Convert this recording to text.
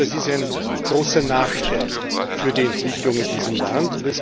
Das ist ein großer Nachteil für die Entwicklung in diesem Land.